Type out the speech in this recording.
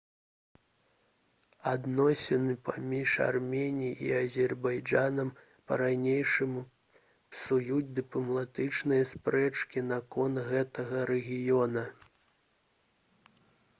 адносіны паміж арменіяй і азербайджанам па-ранейшаму псуюць дыпламатычныя спрэчкі наконт гэтага рэгіёна